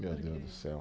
Meu Deus do céu.